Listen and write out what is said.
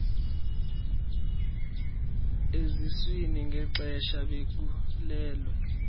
eziswini ngexesha bekhulelwe